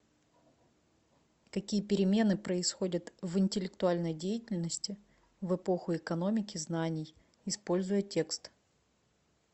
какие перемены происходят в интеллектуальной деятельности в эпоху экономики знаний используя текст